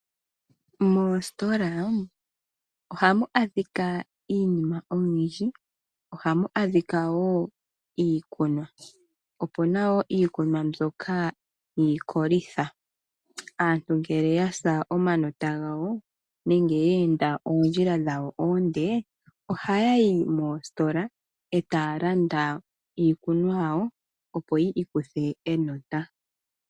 Moositola ohamu adhika iinima oyindji. Ohamu adhika woo iikunwa, opu na wo iikunwa mbyoka yiikolitha. Aantu ngele ya sa omanota gawo nenge ye enda oondjila dhawo oonde ohaya yi moositola e taya landa iikunwa yawo, opo yi ikuthe enota.